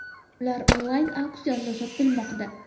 Ular onlayn auksionda sotilmoqda.